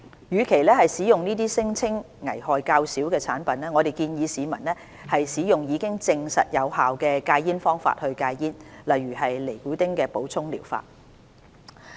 與其使用這些聲稱危害較少的產品，我們建議市民使用已證實有效的戒煙方法戒煙，例如尼古丁替補療法。